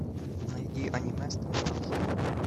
найди аниме стальной алхимик